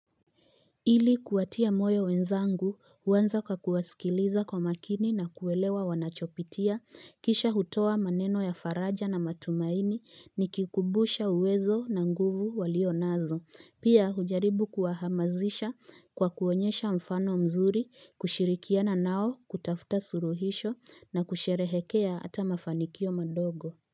Ili kuwatia moyo wenzangu huanza kwakuwasikiliza kwa makini na kuelewa wanachopitia, kisha hutoa maneno ya faraja na matumaini nikikumbusha uwezo na nguvu walionazo pia hujaribu kuwahamasisha kwa kuonyesha mfano mzuri kushirikiana nao kutafuta suluhisho na kusherehekea hata mafanikio madogo.